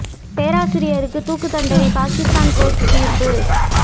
பேராசிரியருக்கு தூக்கு தண்டனை பாகிஸ்தான் கோர்ட்டு தீர்ப்பு